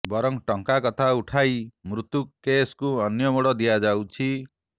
ବରଂ ଟଙ୍କା କଥା ଉଠାଇ ମୃତ୍ୟୁ କେସକୁ ଅନ୍ୟ ମୋଡ଼ ଦିଆଯାଉଛି